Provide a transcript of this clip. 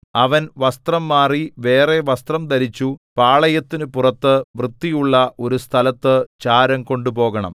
അവൻ വസ്ത്രം മാറി വേറെ വസ്ത്രം ധരിച്ചു പാളയത്തിനു പുറത്തു വൃത്തിയുള്ള ഒരു സ്ഥലത്തു ചാരം കൊണ്ടുപോകണം